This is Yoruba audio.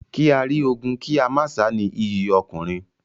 Kí á rí ogun kí a má sá ni iyì ọkùnrin.